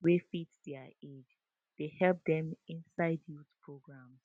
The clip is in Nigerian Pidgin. wey fit their age dey help dem inside youth programs